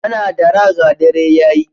Ana dara ga dare ya yi.